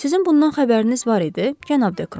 Sizin bundan xəbəriniz var idi, cənab Dekron.